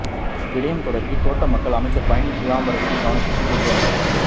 இவ்விடயம் தொடர்பில் தோட்ட மக்கள் அமைச்சர் பழனி திகாம்பரத்தின் கவனத்துக்குக் கொண்டு வந்தனர்